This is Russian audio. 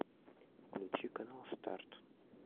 включи канал старт